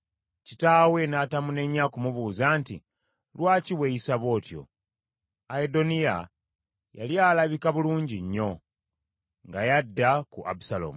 Kitaawe n’atamunenya ku mubuuza nti, “Lwaki weeyisa bw’otyo?” Adoniya yali alabika bulungi nnyo, nga y’adda ku Abusaalomu.